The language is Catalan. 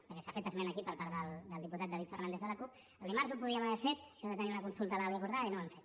perquè s’ha fet esment aquí per part del diputat david fernàndez de la cup que el dimarts ho podíem haver fet això de tenir una consulta legal i acordada i no ho vam fer